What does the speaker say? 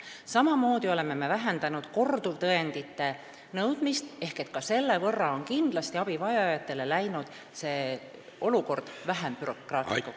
Samamoodi oleme vähendanud korduvtõendite nõudmist, ka selle võrra on abivajajate olukord läinud kindlasti vähem bürokraatlikuks.